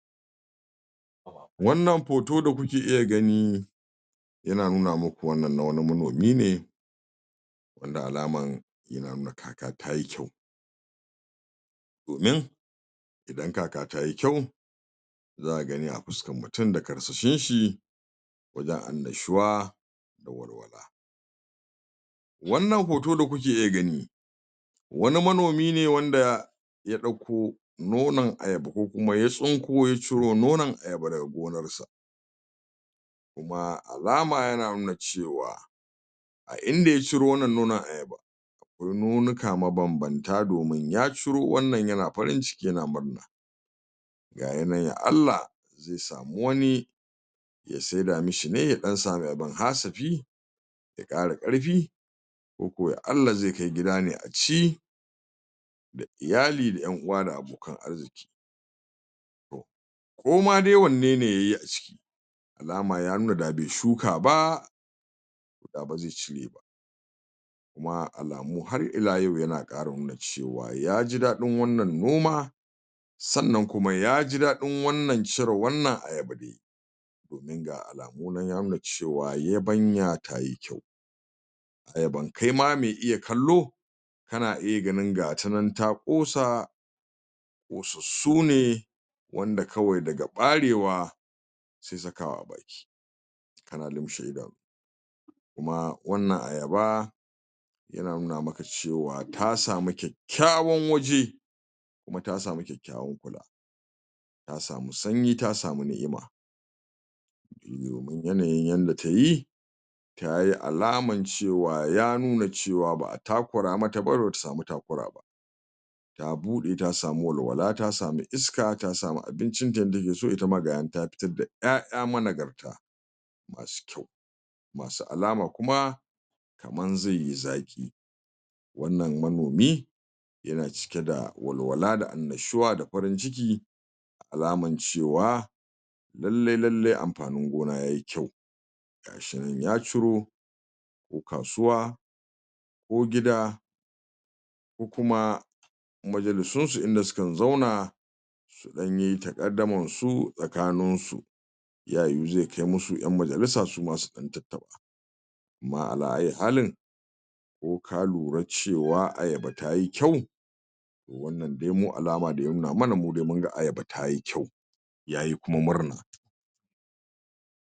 Wannan hoto da kuke iya gani yana nuna muku wannan na wani manomi ne, wanda alama kaka tayi kyau, domin idan kaka tayi kyau zaka gani a fuskar mutum da karsashin shi da annashuwa. Wannan hoto da kuke iya gani, wani manomi ne wanda ya dauko nonon ayaba, ko kuma ya ciro nonon ayaba daga gonar sa, kuma alama yana nuna cewa a inda ya ciro wnn nonon ayabar, akwai nonuka ma bambam ta domin ya ciro wannan yana farin ciki yana murna nan la Allah zai samu wani yana murna, gashi ya saida mi shi ne ya dan samu Dan hasafi ya kara karfi koko la Allah zai kai gida ne a ci da iyali da yan uwa da abokan arziqi, ko ma dai wanne ne yayi a ciki da alama ya nuna da bai shuka ba da ba zai cire ba, kuma alamu har ila yau yana kara nuna cewa ya ji dadin wannan noma sannan kuma yahi dadin cire wannan ayaba da yayi, domin ga alamu nan ya nuna cewa yabanya tayi kyau, ayaban kai ma me iya kallo kana iya ganin gata nan ta kosa kosassu ne wanda kawae daga barewa sai sakawa a baki, kana lumshe idanu kuma wannan ayaba yana nuna maka cewa ta samu kyakkyawan waje kuma ta samu kyakkyawan waje, ta samu sanyi ta samu niimah domin yanayin yadda tayi tayi alaman cewa ba'a takura mata ba ba ta samu takura ba, ta bude ta samu walwala ta samu iska ta samu abincin ta yadda take so ita ma gata nan ta fitar da 'ya'ya managar ta, masu kyau masu alama kuma kaman zai yi zaki, wannan manomi yana cike da walwala da annushuwa da farin ciki da alaman cewa, lallai lallai amfanin gona yayi kyau, gashi nan ya ciro kasuwa ko gida ko kuma majalisin su inda sukan zauna su dan yi takaddamun su tsakanin su, ta yiwu zai kai musu 'yan majalisa su ma su dan tattaba, kuma ala ayyi halin ko ka lura cewa ayaba tayi kyau wannan dai mu alama dai ya nuna mana cewa ayaba tayi kyau, yayi kuma murna.